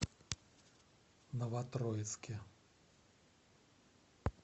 новотроицке